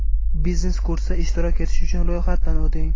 Biznes kursda ishtirok etish uchun ro‘yxatdan o‘ting!